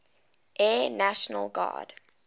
air national guard